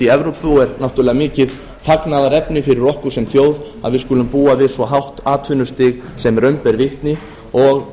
í evrópu og er náttúrlega mikið fagnaðarefni fyrir okkur sem þjóð að við skulum búa við svo hátt atvinnustig sem raun ber vitni og